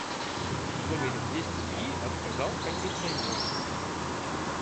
в номере двести три отказал кондиционер